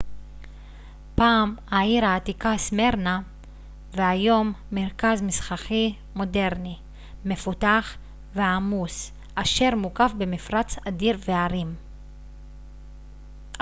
פעם העיר העתיקה סמירנה והיום מרכז מסחרי מודרני מפותח ועמוס אשר מוקף במפרץ אדיר והרים